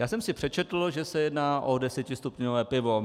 Já jsem si přečetl, že se jedná o desetistupňové pivo.